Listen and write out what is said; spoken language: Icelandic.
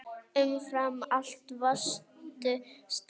Umfram allt varstu sterk.